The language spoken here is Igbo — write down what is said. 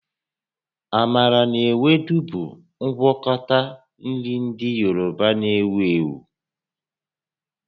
Amala na Ewedu bụ ngwakọta nri ndị Yoruba na-ewu ewu